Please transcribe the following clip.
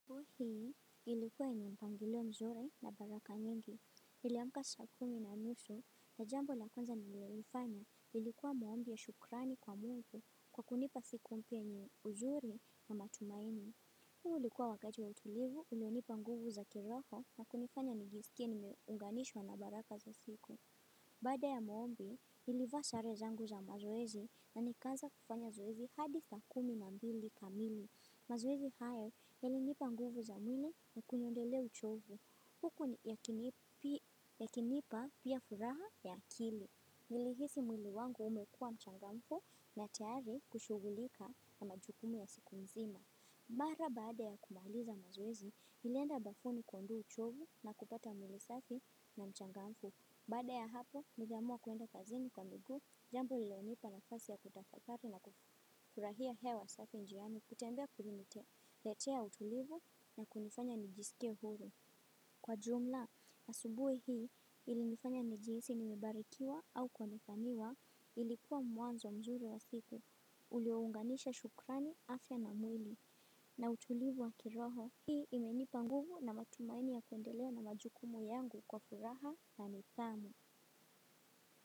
Kwa hii ilikuwa ni mpangilo mzuri na baraka nyingi, niliamka saa kumi na nusu na jambo la kwanza nililolifanya ilikuwa maombi ya shukrani kwa mungu kwa kunipa siku mpya yenye uzuri na matumaini. Huo ulikuwa wakati wa utulivu ilionipa nguvu za kiroho na kunifanya nijiskie nimeunganishwa na baraka za siku. Baada ya maombi, nilivaa sare zangu za mazoezi na nikaanza kufanya zoezi hadi saa kumi na mbili kamili. Mazoezi haya yalinipa nguvu za mwili na kuniondelea uchovu. Huku yakinipa pia furaha ya akili. Nilihisi mwili wangu umekua mchangamfu na tayari kushughulika na majukumu ya siku nzima. Mara baada ya kumaliza mazoezi, nilienda bafuni kuondoa uchovu na kupata mwili safi na mchangamfu. Baada ya hapo, niliamua kuenda kazini kwa mguu, jambo lililonipa nafasi ya kutafakari na kufurahia hewa safi njiani kutembea kuliniletea utulivu na kunifanya nijiskie huru. Kwa jumla, asubuhi hii ilinifanya nijihisi nimebarikiwa au kuonekaniwa ilikuwa mwanzo mzuri wa siku, uliounganisha shukrani, afya na mwili, na utulivu wa kiroho. Hii imenipa nguvu na matumaini ya kuendelea na majukumu yangu kwa furaha na nidhamu.